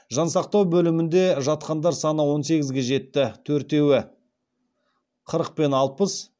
жансақтау бөлімінде жатқандар саны он сегізге жетті төртеуі қырық пен алпыс